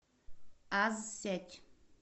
аз сеть